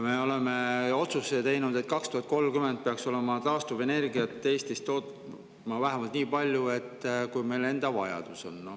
Me oleme teinud otsuse, et 2030. aastaks peaks taastuvenergiat Eestis toodetama vähemalt nii palju, kui meie enda vajadus on.